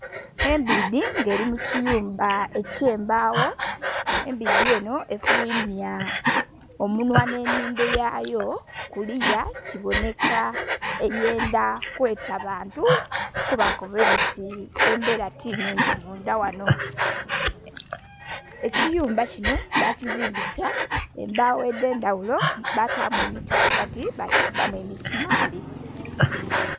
Embidhi nga erimukiyumba ekyembagho, embidhi enho efulwimya omunhwa nh'enhindho yayo kuliya kibonheka eyendha kweta bantu kubakoba nti ebera tinhungi mundha ghanho. Ekiyumba kinho bakizimbisa embagho edhendhaghulo batamu emiti ghagati bakikubbamu emisumali.